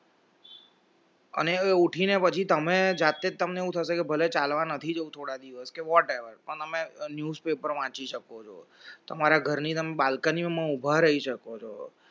અને હવે ઉઠીને પછી તમે જાતે જ તમને હું થશે કે ભલે ચાલવા નથી જવું થોડી દિવસ whatever પણ તમે news paper વાંચી શકો છો તમારા ઘરની તમે balcony ઉભા રહી શકો છો